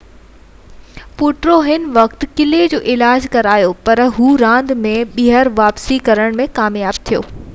Potro ان وقت پنهنجي ڪلهي جو علاج ڪرايو پر هو راند ۾ ٻيهر واپسي ڪرڻ ۾ ڪامياب ٿيو